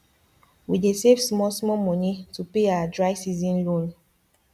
we dey save small small money to pay our dry season loan